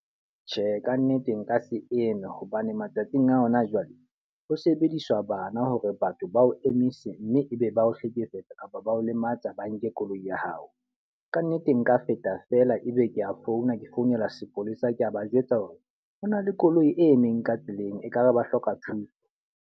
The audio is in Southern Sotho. Tjhe, ka nnete nka se hobane matsatsing a hona jwale, ho sebediswa bana hore batho ba o emise mme e be ba o hlekefetsa kapa ba o lematsa ba nke koloi ya hao. Ka nnete nka feta fela e be ke a founa ke founela sepolesa, ke a ba jwetsa hore ho na le koloi e emeng ka tseleng e ka re ba hloka thuso.